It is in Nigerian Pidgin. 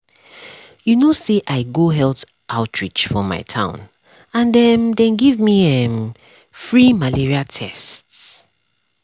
you know say i go health outreach for my town and um dem give um me[um]free malaria tests. um tests. um